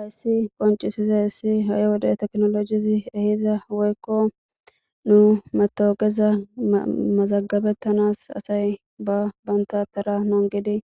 ayssi qoncisiza issi ha7i wode teknolojizi ehiza woykko nu matooqeza mazagabettanas asay ba banta tara nongidi